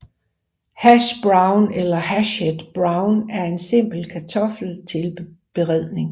Hash brown eller hashed brown er en simpel kartoffeltilberedning